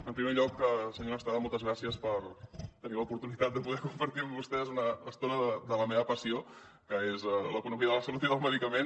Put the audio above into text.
en primer lloc senyora estrada moltes gràcies per haver tingut l’oportunitat de poder compartir amb vostès una estona de la meva passió que és l’economia de la salut i del medicament